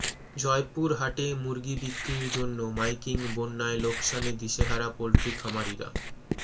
জয়পুরহাটে মুরগি বিক্রির জন্য মাইকিং বন্যায় লোকসানে দিশেহারা পোলট্রি খামারিরা